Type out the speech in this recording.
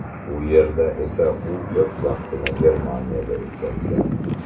U yerda esa u ko‘p vaqtni Germaniyada o‘tkazgan.